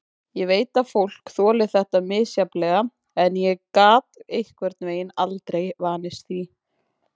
Ég veit að fólk þolir þetta misjafnlega en ég gat einhvern veginn aldrei vanist því.